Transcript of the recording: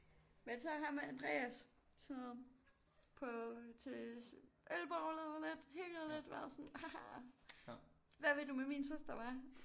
Men så ham Andreas sådan noget på til ølbowlet lidt hygget lidt været sådan haha hvad vil du med min søster hvad